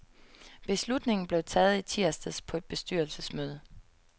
Beslutningen blev taget i tirsdags på et bestyrelsesmøde.